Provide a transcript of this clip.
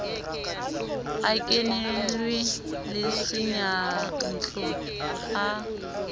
a kenelo le seyantlo a